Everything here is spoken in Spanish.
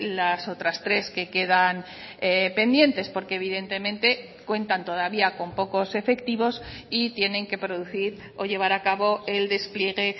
las otras tres que quedan pendientes porque evidentemente cuentan todavía con pocos efectivos y tienen que producir o llevar a cabo el despliegue